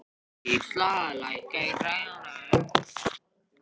Gísla, lækkaðu í græjunum.